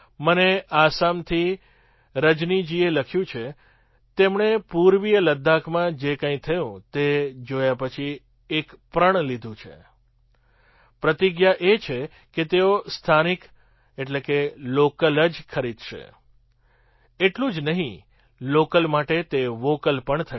મને આસામથી રજનીજીએ લખ્યું છે તેમણે પૂર્વીય લદ્દાખમાં જે કંઈ થયું તે જોયા પછી એક પ્રણ લીધું છે પ્રતિજ્ઞા એ કે તેઓ સ્થાનિક લૉકલ જ ખરીદશે એટલું જ નહીં લૉકલ માટે તે વૉકલ પણ થશે